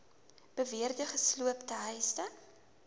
beweerde gesloopte huise